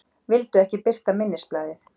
Vildu ekki birta minnisblaðið